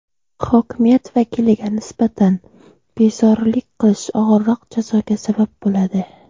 Hokimiyat vakiliga nisbatan bezorilik qilish og‘irroq jazoga sabab bo‘ladi.